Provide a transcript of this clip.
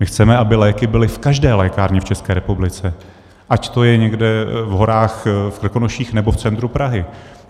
My chceme, aby léky byly v každé lékárně v České republice, ať to je někde v horách v Krkonoších, nebo v centru Prahy.